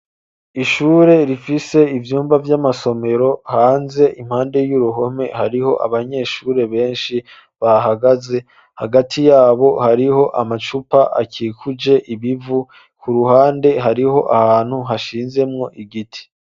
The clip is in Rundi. Ishure rifise ivyumba by'amasomero hanze impande y'uruhome hariho abanyeshure benshi bahagaze hagati yabo hariho amacupa akikuje ibivu ku ruhande hariho ahantu hashinzemwo igiti.